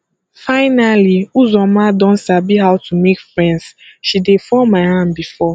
finally uzoma don sabi how to make friends she dey fall my hand before